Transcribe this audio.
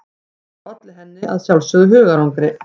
Þetta olli henni að sjálfsögðu hugarangri.